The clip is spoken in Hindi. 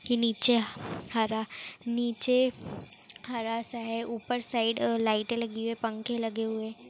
नीचे हर नीचे हर सा हैं ऊपर साइड लाइटे लगे हुए पंखे लगे हुए हैं।